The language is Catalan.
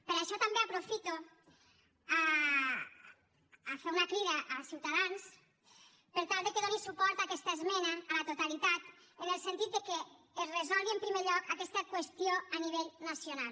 per això també aprofito per fer una crida a ciutadans per tal que doni suport a aquesta esmena a la totalitat en el sentit que es resolgui en primer lloc aquesta qüestió a nivell nacional